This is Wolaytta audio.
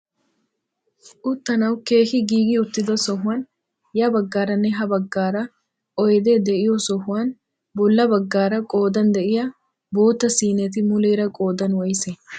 Uttanawu keehi giigi uttida sohuwaan ya baggaaranne ha baggaara oydee de'iyoo sohuwaan bolla baggaara qoodan de'iyaa bootta siineti muleera qoodan woysee?